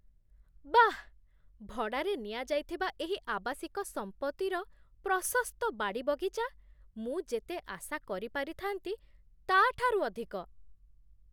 ବାଃ, ଭଡ଼ାରେ ନିଆଯାଇଥିବା ଏହି ଆବାସିକ ସମ୍ପତ୍ତିର ପ୍ରଶସ୍ତ ବାଡ଼ିବଗିଚା, ମୁଁ ଯେତେ ଆଶା କରିପାରିଥାନ୍ତି, ତା'ଠାରୁ ଅଧିକ!